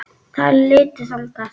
Þær litu þangað.